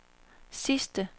sidste